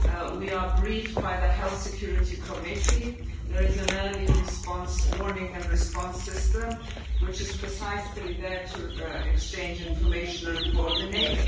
We are briefed by the Health Security Committee and there is an early response warning and response system which is precisely there to exchange information and coordinate.